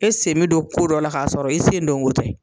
E sen bɛ don ko dɔ la, k'a sɔrɔ i sen don wo tɛ.